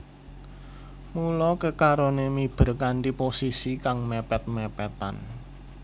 Mula kekaroné miber kanthi posisi kang mèpèt mèpètan